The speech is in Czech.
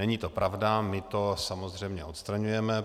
Není to pravda, my to samozřejmě odstraňujeme.